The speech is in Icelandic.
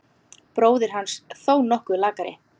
Bróðir hans þó nokkuð lakari.